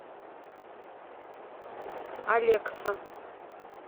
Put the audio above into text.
алекса